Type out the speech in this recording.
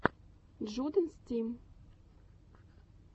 джудэнс тим